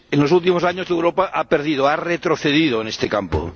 En los últimos años Europa ha perdido, ha retrocedido en este campo.